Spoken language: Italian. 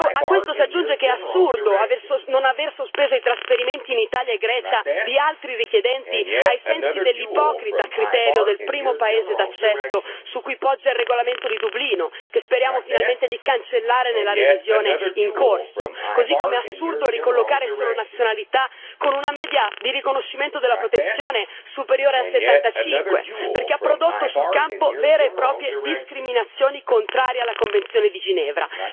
A questo si aggiunge che è assurdo non aver sospeso i trasferimenti in Italia e in Grecia di altri richiedenti ai sensi dell'ipocrita criterio del primo paese d'accesso su cui poggia il regolamento di Dublino, che speriamo finalmente di cancellare nella revisione in corso, così come è assurdo ricollocare solo nazionalità con una media di riconoscimento della protezione superiore a 75, perché ha prodotto sul campo vere e proprie discriminazioni contrarie alla Convenzione di Ginevra.